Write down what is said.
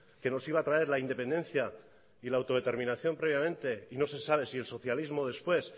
que nos iba a traer la independencia y la autodeterminación previamente y no se sabe si el socialismo después